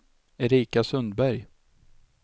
Erika Sundberg